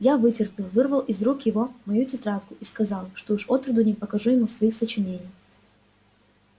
я вытерпел вырвал из рук его мою тетрадку и сказал что уж отроду не покажу ему своих сочинений